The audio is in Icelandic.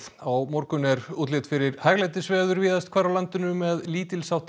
á morgun er útlit fyrir hæglætisveður víðast hvar á landinu með lítils háttar